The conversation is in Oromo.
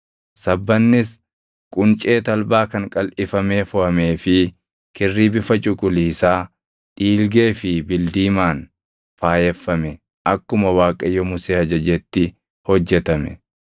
Sabbannis quncee talbaa kan qalʼifamee foʼamee fi kirrii bifa cuquliisaa, dhiilgee fi bildiimaan faayeffame akkuma Waaqayyo Musee ajajetti hojjetame.